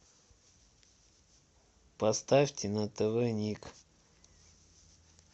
поставьте на тв ник